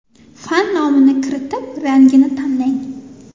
Fan nomini kiritib, rangini tanlang.